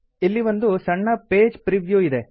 ಇಲ್ಲಿ ಒಂದು ಸಣ್ಣ ಪೇಜ್ ಪ್ರಿ ವ್ಯೂ ಇದೆ